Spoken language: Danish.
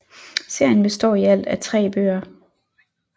Serien består i alt af 3 bøger